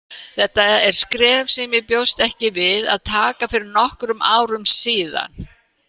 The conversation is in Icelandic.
Þetta er skref sem ég bjóst ekki við að taka fyrir nokkrum árum síðan.